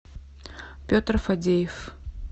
петр фадеев